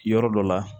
Yɔrɔ dɔ la